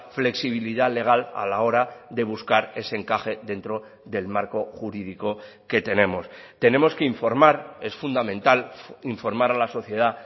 flexibilidad legal a la hora de buscar ese encaje dentro del marco jurídico que tenemos tenemos que informar es fundamental informar a la sociedad